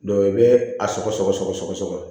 i bɛ a sɔgɔ sɔgɔ sɔgɔ sɔgɔ